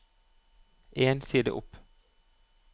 En side opp